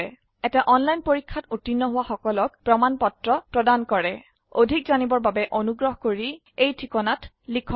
এটা অনলাইন পৰীক্ষাত উত্তীৰ্ণ হোৱা সকলক প্ৰমাণ পত্ৰ প্ৰদান কৰে অধিক জানিবৰ বাবে অনুগ্ৰহ কৰি contactspoken tutorialorg এই ঠিকনাত লিখক